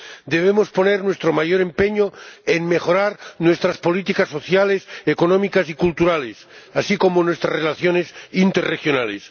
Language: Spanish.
Debemos poner nuestro mayor empeño en mejorar nuestras políticas sociales, económicas y culturales, así como nuestras relaciones interregionales.